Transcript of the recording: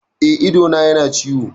Eh, idona yana ciwo